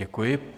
Děkuji.